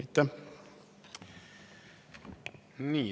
Aitäh!